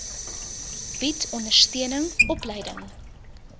bied ondersteuning opleiding